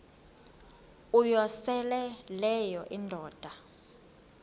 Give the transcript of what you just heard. uyosele leyo indoda